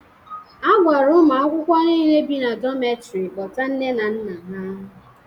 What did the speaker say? A gwara ụmụ akwụkwọ niile bi na dometri kpọta nne na nna ha.